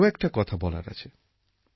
আমার আরও একটি কথা বলার আছে